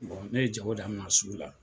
ne ye jago daminɛ sugula.